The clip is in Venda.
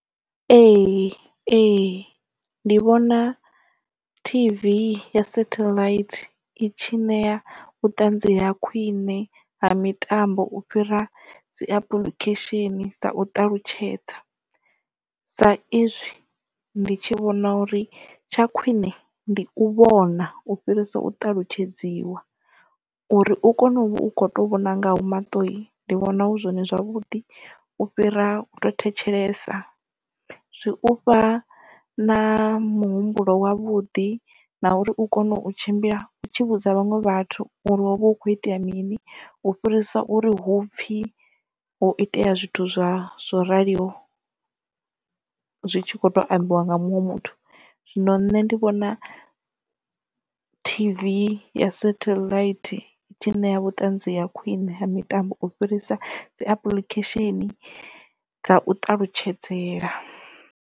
Ee ee ndi vhona T_V ya satellite itshi nea vhuṱanzi ha khwine ha mitambo u fhira dzi apuḽikhesheni sa u ṱalutshedza sa izwi ndi tshi vhona uri tsha khwine ndi u vhona u fhirisa u ṱalutshedziwa uri u kone uvha u kho to vhona nga au maṱo ndi vhona hu zwone zwavhuḓi u fhira u to thetshelesa zwi ufha na muhumbulo wavhuḓi na uri u kone u tshimbila u tshi vhudza vhaṅwe vhathu uri hovha hu kho itea mini u fhirisa uri hupfi ho itea zwithu zwo raliho zwi tshi kho to ambiwa nga muṅwe muthu zwino nṋe ndi vhona T_V ya satellite itshi ṋea vhuṱanzi ya khwiṋe ha mitambo u fhirisa dzi apuḽikhesheni dza u ṱalutshedzela.